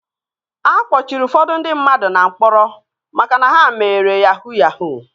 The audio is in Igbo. A kpọchiri ụfọdụ ndị mmadụ na mkpọrọ maka na ha mere yahuu yahuu